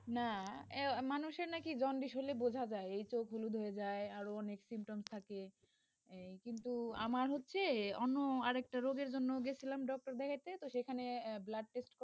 না মানুষের নাকি জন্ডিস হলে বোঝা যায়, চোখ হলুদ হয়ে যায়, আরো অনেক symptom থাকে, কিন্তু আমার হচ্ছে, যে অন্য আর একটা রোগের জন্য গেছিলাম doctor দেখাইতে তো সেখানে blood test